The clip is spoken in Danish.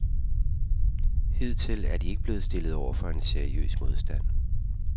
Hidtil er de ikke blevet stillet over for seriøs modstand.